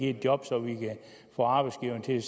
et job så vi kan få arbejdsgiverne til